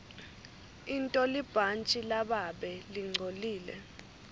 intolibhantji lababe lingcolile